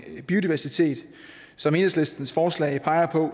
biodiversitet og som enhedslistens forslag peger på